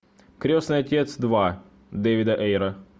крестный отец два дэвида эйра